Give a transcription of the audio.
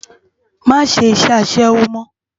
Má ṣé iṣè aṣèwó mò